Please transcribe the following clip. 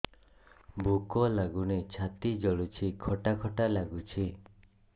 ଭୁକ ଲାଗୁନି ଛାତି ଜଳୁଛି ଖଟା ଖଟା ଲାଗୁଛି